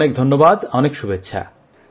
অনেক ধন্যবাদ অনেক শুভেচ্ছা